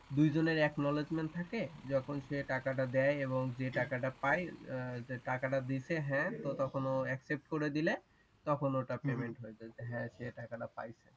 দুইজনেরই acknowledgement থাকে যখন সেই টাকা টা দে এবং যেই টাকাটা পায় টাকাটা দিছে হ্যাঁ